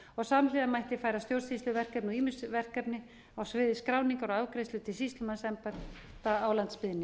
og samhliða mætti færa stjórnsýsluverkefni og ýmis verkefni á sviði skráningar og afgreiðslu til sýslumannsembætta á landsbyggðinni